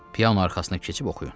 Piano arxasına keçib oxuyun.